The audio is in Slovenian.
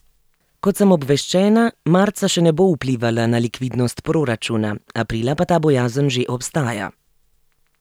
Kot sem obveščena, marca še ne bo vplivala na likvidnost proračuna, aprila pa ta bojazen že obstaja.